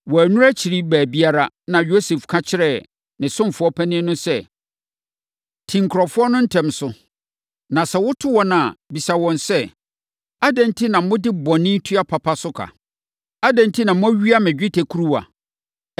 Wɔannuru akyiri baabiara, na Yosef ka kyerɛɛ ne ɔsomfoɔ panin no sɛ, “Ti nkurɔfoɔ no ntɛm so, na sɛ woto wɔn a, bisa wɔn sɛ, ‘Adɛn enti na mode bɔne tua papa so ka? Adɛn enti na moawia me dwetɛ kuruwa?